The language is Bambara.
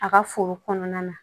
A ka foro kɔnɔna na